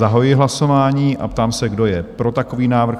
Zahajuji hlasování a ptám se, kdo je pro takový návrh?